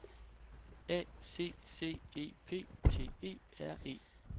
A C C E P T E R E